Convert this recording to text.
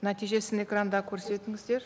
нәтижесін экранда көрсетіңіздер